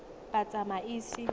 batsamaisi